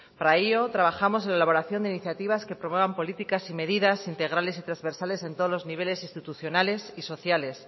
para ello trabajamos en la elaboración de iniciativas que promuevan políticas y medidas integrales y transversales en todos los niveles institucionales y sociales